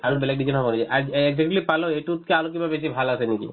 আৰু বেলেগ design ৰ কৰি আৰু এক দুই বুলি পালো সেইটোতকৈ আৰু কিবা বেছি ভাল আছে নেকি ?